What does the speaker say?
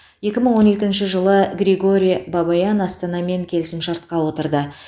екі мың он екінші жылы григорий бабаян астанамен келісімшартқа отырды